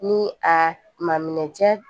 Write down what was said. Ni a ma minɛ jɛ